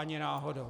Ani náhodou.